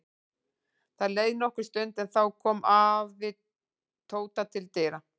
Það leið nokkur stund en þá kom afi Tóta til dyra.